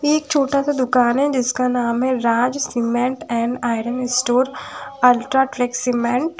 एक छोटा सा दुकान है जिसका नाम है Raj cement and iron store UltraTech cement.